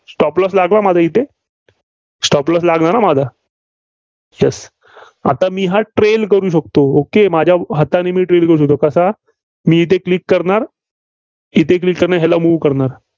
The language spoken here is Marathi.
stop loss लागला माझा इथे. stop loss लागला ना माझा? Yes आता मी हा trail करू शकतो. okay माझ्या हातांनी मी trail करू शकतो. कसा? मी इथे click करणार येथे click करून याला move करणार.